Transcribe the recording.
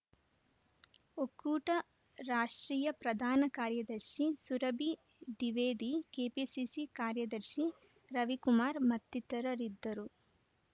ಒಕ್ಕೂಟ ರಾಷ್ಟ್ರೀಯ ಪ್ರಧಾನ ಕಾರ್ಯದರ್ಶಿ ಸುರಭಿ ದಿವೇದಿ ಕೆಪಿಸಿಸಿ ಕಾರ್ಯದರ್ಶಿ ರವಿಕುಮಾರ್‌ ಮತ್ತಿತರರಿದ್ದರು